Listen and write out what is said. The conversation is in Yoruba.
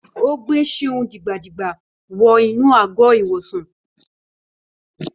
Ó gbe Seun dìgbà-dìgbà wọ inú àgọ́-ìwòsàn